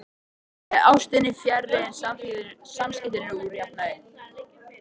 Þegar ástin er fjarri eru samskiptin úr jafnvægi.